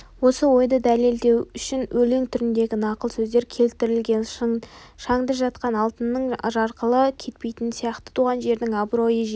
осы ойды дәлелдеу үшін өлең түріндегі нақыл сөздер келтірген шаңда жатқан алтынның жарқылы кетпейтіні сияқты туған жердің абыройы жеке